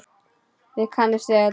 Þið kannist við þetta.